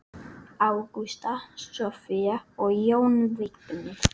Ágústa, Soffía og Jón Vignir.